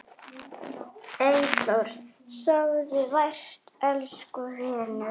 Eyþór, sofðu vært elsku vinur.